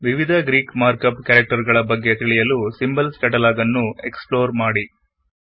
ವಿವಿಧ Greek markup character ಗಳಿಗಾಗಿ symbols catalog ನ್ನು ಎಕ್ಸ್ ಪ್ಳೋರ್ ಮಾಡಿ